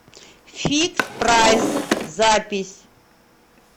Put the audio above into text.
фикспрайс запись